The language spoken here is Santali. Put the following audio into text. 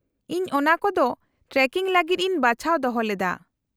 -ᱤᱧ ᱚᱱᱟᱠᱚ ᱫᱚ ᱴᱨᱮᱠᱤᱝ ᱞᱟᱹᱜᱤᱫ ᱤᱧ ᱵᱟᱧᱪᱟᱣ ᱫᱚᱦᱚ ᱞᱮᱫᱟ ᱾